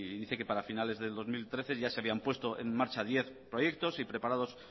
dice que para finales del dos mil trece ya se habían puesto en marcha diez proyectos y preparados